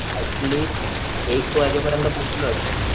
eight least एक वाजेपरीयंत पोहोचलो असेल